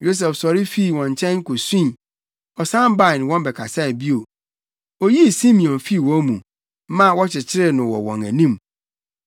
Yosef sɔre fii wɔn nkyɛn kosui. Ɔsan bae ne wɔn bɛkasae bio. Oyii Simeon fii wɔn mu, maa wɔkyekyeree no wɔ wɔn anim.